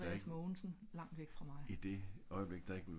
hold andreas mogensen langt væk fra mig